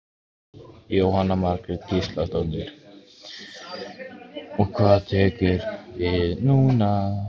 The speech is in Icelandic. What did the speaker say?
Jóhanna Margrét Gísladóttir: Og hvað tekur núna við?